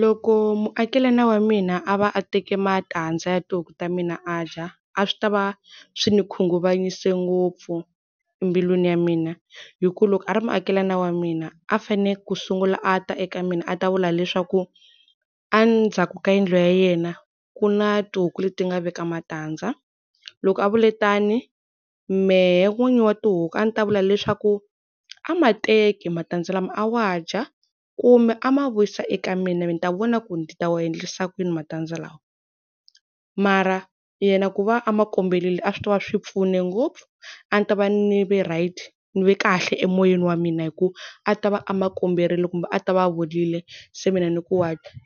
Loko muakelani wa mina a va a teka matandza ya tihuku ta mina a dya a swi ta va swi ni khunguvanyise ngopfu mbilwini ya mina. Hikuva loko a ri muakelani wa mina, a fanele ku sungula a ta eka mina a ta vula leswaku, endzhaku ka yindlu ya yena ku na tihuku leti nga veka matandza. Loko a vule tani, mehe n'winyi wa tihuku a ni ta vula leswaku a ma teki matandza lama a ma dya kumbe a ma vuyisa eka mina ni ta vona ku ni ta ma endlisa kuyini matandza lawa. Mara yena ku va a ma komberile a swi ta va swi pfune ngopfu. A ni ta va ni ve right, ni ve kahle emoyeni wa mina hikuva a ta va a ma komberile kumbe a ta ve a vurile se mina ni ku .